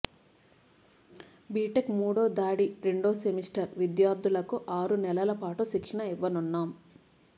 BTech మూడో డాది రెండో సెమిస్టర్ విద్యార్థులకు ఆరు నెలలపాటు శిక్షణ ఇవ్వనున్నాం